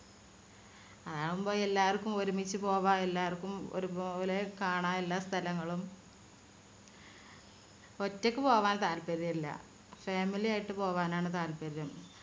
അതാവുമ്പോ എല്ലാവർക്കും ഒരുമിച്ചു പോകാം എല്ലാവർക്കും ഒരുപോലെ കാണാം എല്ലാ സ്ഥലങ്ങളും ഒറ്റയ്ക്ക് പോകാൻ താല്പര്യം ഇല്ല family യിട്ട് പോകാനാണ് താല്പര്യം